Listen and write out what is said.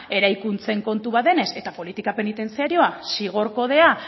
eraikuntzen kontu bat denez eta politika penitentziarioa zigor kodea